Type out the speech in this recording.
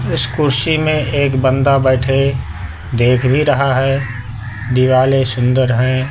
उस कुर्सी में एक बंदा बैठे देख भी रहा है दिवाले सुंदर हैं।